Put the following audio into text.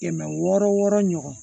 Kɛmɛ wɔɔrɔ wɔɔrɔ ɲɔgɔn